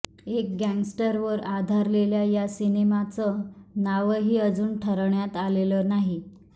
एका गँगस्टरवर आधारलेल्या या सिनेमाचं नावही अजून ठरवण्यात आलेलं नाही